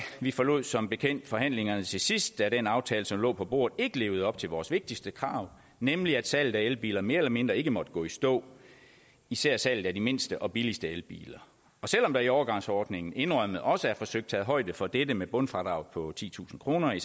vi forlod som bekendt forhandlingerne til sidst da den aftale som lå på bordet ikke levede op til vores vigtigste krav nemlig at salget af elbiler mere eller mindre ikke måtte gå i stå især salget af de mindste og billigste elbiler og selv om der i overgangsordninger indrømmet også er forsøgt taget højde for dette med bundfradraget på titusind kroner i